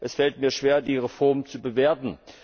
Es fällt mir schwer, die Reform zu bewerten.